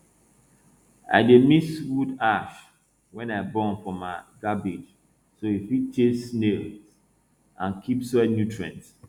i dey mix wood ash wey i burn for my cabbage so e fit chase snails and keep soil nutrients